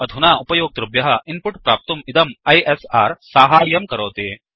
अधुना उपयोक्तृभ्यः इन्पुट् प्राप्तुं इदं आईएसआर साहाय्यं करोति